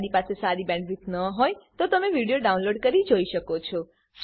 જો તમારી પાસે સારી બેન્ડવિડ્થ ન હોય તો તમે વિડીયો ડાઉનલોડ કરીને જોઈ શકો છો